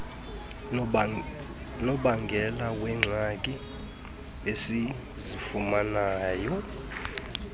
nobangela weengxaki esizifumanayo